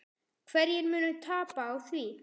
Hverjir munu tapa á því?